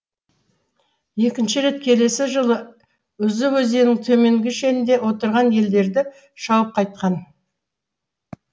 екінші рет келесі жылы үзі өзенінің төменгі шенінде отырған елдерді шауып қайтқан